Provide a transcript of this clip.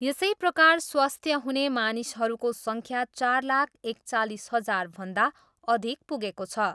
यसै प्रकार स्वास्थ्य हुने मानिसहरूको सङ्ख्या चार लाख एकचालिस हजारभन्दा अधिक पुगेको छ।